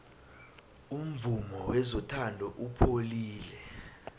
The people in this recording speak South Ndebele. umvumo wezothando upholile